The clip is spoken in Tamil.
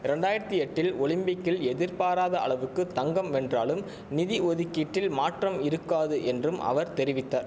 ரெண்டாயிரத்தி எட்டில் ஒலிம்பிக்கில் எதிர்பாராத அளவுக்கு தங்கம் வென்றாலும் நிதி ஒதுக்கீட்டில் மாற்றம் இருக்காது என்றும் அவர் தெரிவித்த